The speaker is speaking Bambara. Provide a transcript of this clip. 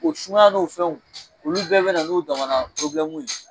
O sumaya n'o fɛnw olu bɛɛ bɛ na n'o damana ye